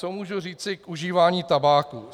Co můžu říci k užívání tabáku?